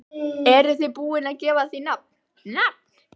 Eruð þið búin að gefa því nafn, nafn?